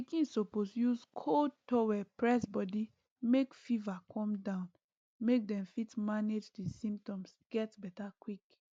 pikin suppose use cold towel press body make fever come down make dem fit manage di symptoms get beta quick